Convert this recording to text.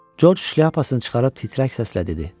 Corc şlyapasını çıxarıb titrək səslə dedi: